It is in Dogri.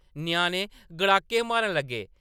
ञ्याणे गड़ाके मारन लगे ।